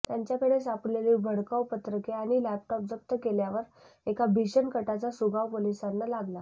त्यांच्याकडे सापडलेली भडकाऊ पत्रके आणि लॅपटॉप जप्त केल्यावर एका भीषण कटाचा सुगावा पोलिसांना लागला